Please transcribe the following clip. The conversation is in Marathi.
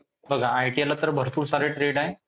बघा ITI ला तर भरपूर सारे trade आहे.